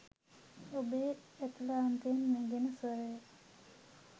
ඔබේ ඇතුළාන්තයෙන් නැගෙන ස්වරය